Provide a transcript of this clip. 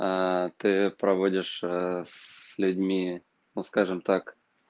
аа ты проводишь ээ с людьми ну скажем так